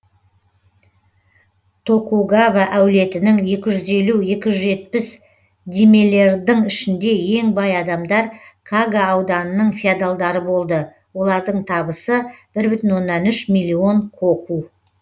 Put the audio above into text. токугава әулетінің екі жүз елу екі жүз жетпіс дймелердың ішінде ең бай адамдар кага ауданының феодалдары болды олардың табысы бір бүтін оннан үш миллион коку